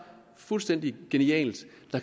fuldstændig genialt